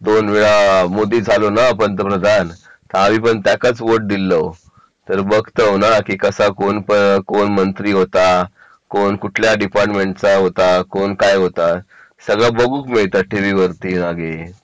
दोन वेळा मोदीच झालो ना पंतप्रधान तर आम्ही पण त्याकाच वोट दिलेलं तर बघतो ना की कसा कोण मंत्री होता कोण कुठल्या डिपार्टमेंटचा होता कोण काय होता सगळं बघूक मिळतं टीव्ही वरती मागे